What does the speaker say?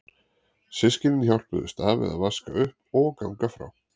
Systkynin hjálpuðust að við að vaska upp og ganga frá.